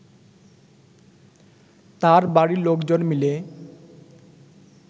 তার বাড়ির লোকজন মিলে